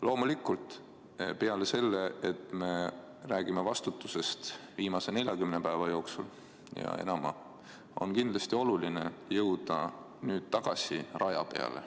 Loomulikult, peale selle, et me räägime vastutusest viimase 40 päeva ja enama jooksul, on kindlasti oluline jõuda tagasi raja peale.